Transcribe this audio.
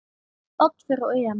Spánn fer á EM.